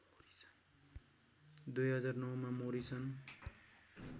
२००९ मा मोरिसन